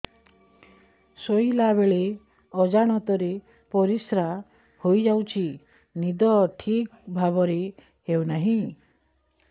ଶୋଇଲା ବେଳେ ଅଜାଣତରେ ପରିସ୍ରା ହୋଇଯାଉଛି ନିଦ ଠିକ ଭାବରେ ହେଉ ନାହିଁ